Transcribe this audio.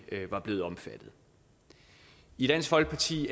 blevet omfattet i dansk folkeparti